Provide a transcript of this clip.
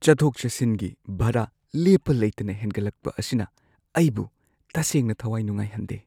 ꯆꯠꯊꯣꯛ-ꯆꯠꯁꯤꯟꯒꯤ ꯚꯔꯥ ꯂꯦꯞꯄ ꯂꯩꯇꯅ ꯍꯦꯟꯒꯠꯂꯛꯄ ꯑꯁꯤꯅ ꯑꯩꯕꯨ ꯇꯁꯦꯡꯅ ꯊꯋꯥꯏ ꯅꯨꯡꯉꯥꯏꯍꯟꯗꯦ꯫